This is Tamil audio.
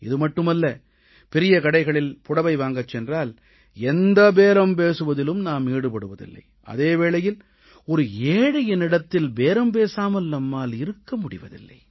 இது மட்டுமல்ல பெரிய கடைகளில் புடவை வாங்கச் சென்றால் எந்த பேரம் பேசுவதிலும் நாம் ஈடுபடுவதில்லை அதே வேளையில் ஒரு ஏழையிடத்தில் பேரம் பேசாமல் நம்மால் இருக்க முடிவதில்லை